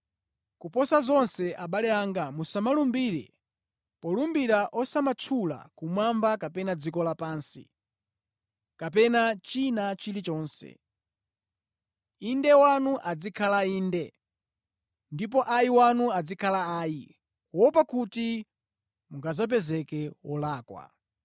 Koposa zonse, abale anga, musamalumbire. Polumbira osamatchula kumwamba kapena dziko lapansi, kapena china chilichonse. “Inde” wanu azikhala “Inde,” ndipo “Ayi” wanu azikhala “Ayi,” kuopa kuti mungadzapezeke olakwa.